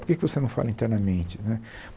Por que que você não fala internamente né?